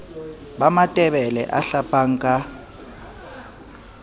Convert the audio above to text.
ba matebele a hlapang ka